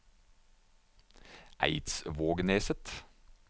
Eidsvågneset